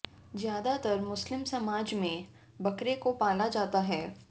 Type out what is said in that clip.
ज्यादातर मुस्लिम समाज में बकरे को पाला जाता है